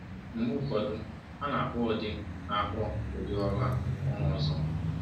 Mgbe ụfọdụ, a na-akpọ ụdị na-akpọ ụdị ọrụ ọma ọzọ.